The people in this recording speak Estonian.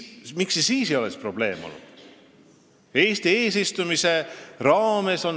Miks see siis probleem ei olnud?